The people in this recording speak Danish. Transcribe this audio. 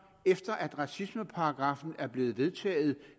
efter at racismeparagraffen er blevet vedtaget